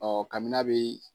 Ɔ kabi n'a bɛ